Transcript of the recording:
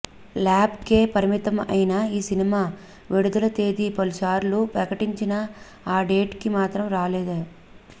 lab కే పరిమితం అయిన ఈ సినిమా విడుదల తేది పలుసార్లు ప్రకటించినా ఆ డేట్ కి మాత్రం రాలేదు